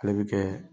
Ale bɛ kɛ